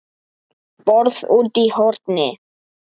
BORÐ ÚTI Í HORNI